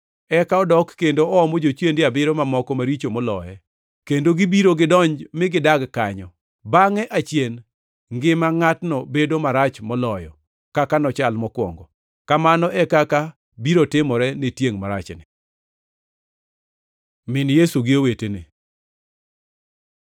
Eka odok kendo oomo jochiende abiriyo mamoko maricho moloye, kendo gibiro gidonj mi gidag kanyo. Bangʼe achien ngima ngʼatno bedo marach moloyo kaka nochal mokwongo. Kamano e kaka biro timore ne tiengʼ marachni.” Min Yesu gi owetene